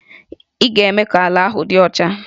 Ị ga-eme ka ala ahụ dị ọcha!